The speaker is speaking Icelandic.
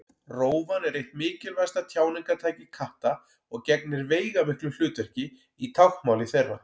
Rófan er eitt mikilvægasta tjáningartæki katta og gegnir veigamiklu hlutverki í táknmáli þeirra.